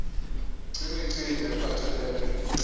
c imicimbi ephathelele